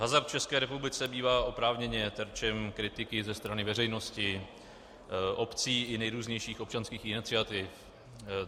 Hazard v České republice bývá oprávněně terčem kritiky ze strany veřejnosti, obcí i nejrůznějších občanských iniciativ.